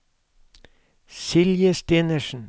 Silje Stenersen